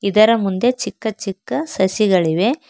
ಇದರ ಮುಂದೆ ಚಿಕ್ಕ ಚಿಕ್ಕ ಸಸಿಗಳಿವೆ.